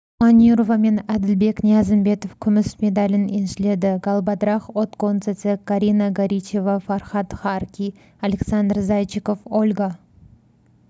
манюрова менәділбек ниязымбетов күміс медалін еншіледі галбадрах отгонцэцэг карина горичева фархад харки александр зайчиков ольга